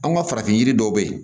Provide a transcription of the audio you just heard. An ka farafin yiri dɔw be yen